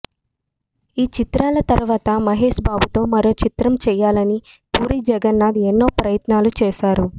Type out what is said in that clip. ఈ చిత్రాల తర్వాత మహేష్ బాబుతో మరో చిత్రం చేయాలని పూరి జగన్నాథ్ ఎన్నో ప్రయత్నాలు చేసారు